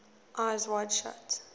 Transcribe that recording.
eyes wide shut